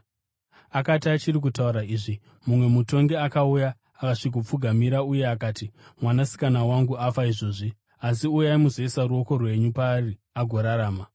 Akati achiri kutaura izvi, mumwe mutongi akauya akasvikomupfugamira uye akati, “Mwanasikana wangu afa izvozvi. Asi uyai muzoisa ruoko rwenyu paari agorarama.”